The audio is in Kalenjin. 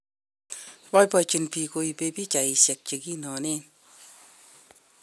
boibochine biik koibei pichaishe che kinonen.